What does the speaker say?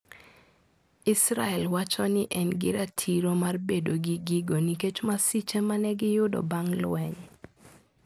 Israel wacho ni en gi ratiro mar bedo gi gigo nikech masiche ma ne giyudo bang ' lweny.